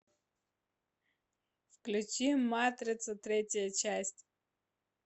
включи матрица третья часть